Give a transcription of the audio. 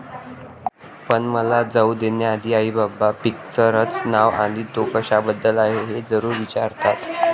पण मला जाऊ देण्याआधी, आईबाबा पिक्चरचं नाव आणि तो कशाबद्दल आहे हे जरूर विचारतात.